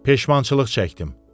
Peşmançılıq çəkdim.